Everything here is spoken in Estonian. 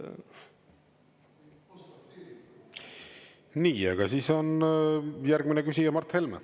Nii, aga siis on järgmine küsija Mart Helme.